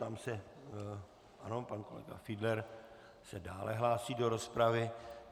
Ptám se - ano, pan kolega Fiedler se dále hlásí do rozpravy.